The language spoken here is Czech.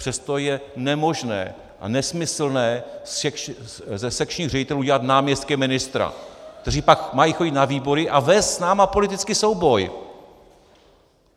Přesto je nemožné a nesmyslné ze sekčních ředitelů udělat náměstky ministra, kteří pak mají chodit na výbory a vést s námi politický souboj.